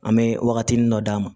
An bɛ wagatinin dɔ d'a ma